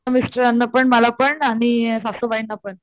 मिस्टरांना पण मला पण आणि सासूबाईंना पण.